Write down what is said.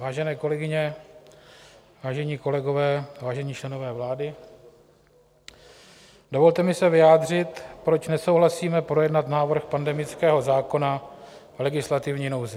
Vážené kolegyně, vážení kolegové, vážení členové vlády, dovolte mi se vyjádřit, proč nesouhlasíme projednat návrh pandemického zákona v legislativní nouzi.